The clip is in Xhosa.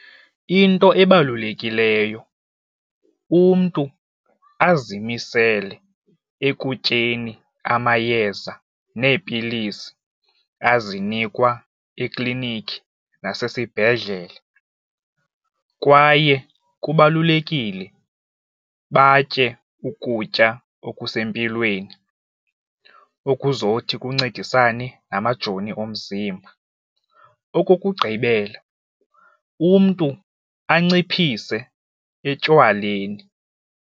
Into ebalulekileyo umntu azimisele ekutyeni amayeza neepilisi azinikwa eklinikhi nasesibhedlele kwaye kubalulekile batye ukutya okusempilweni, okuzothi kuncedisane namajoni omzimba. Okokugqibela, umntu anciphise etywaleni.